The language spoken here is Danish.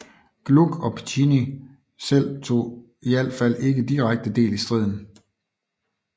Gluck og Piccinni selv tog i alt fald ikke direkte del i striden